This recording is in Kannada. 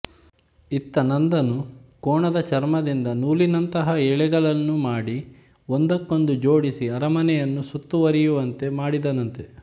ಇತ್ತ ನಂದನು ಕೋಣದ ಚರ್ಮದಿಂದ ನೂಲಿನಂತಹ ಎಳೆಗಳನ್ನು ಮಾಡಿ ಒಂದಕ್ಕೊಂದು ಜೋಡಿಸಿ ಅರಮನೆಯನ್ನು ಸುತ್ತುವರಿಯುವಂತೆ ಮಾಡಿದನಂತೆ